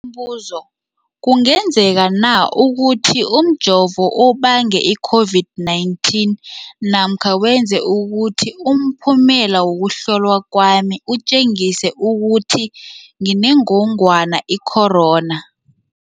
Umbuzo, kungenzekana ukuthi umjovo ubange i-COVID-19 namkha wenze ukuthi umphumela wokuhlolwa kwami utjengise ukuthi nginengogwana i-corona?